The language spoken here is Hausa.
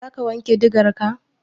Za ka wanke digarka?